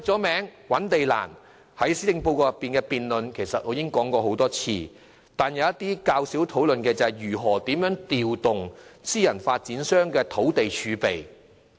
覓地難是眾所周知的問題，我在施政報告辯論中已多次提及，但大家較少討論如何調動私人發展商土地儲備的問題。